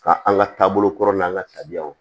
Ka an ka taabolo kɔrɔ n'an ka tabiyaw